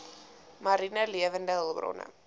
mariene lewende hulpbronne